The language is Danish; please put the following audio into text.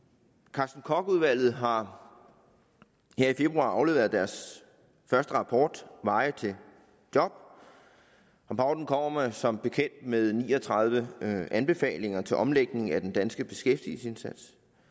carsten koch udvalget har her i februar afleveret deres første rapport veje til job rapporten kommer som bekendt med ni og tredive anbefalinger til omlægning af den danske beskæftigelsesindsats